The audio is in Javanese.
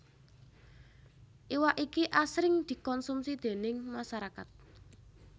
Iwak iki asring dikonsumsi déning masarakat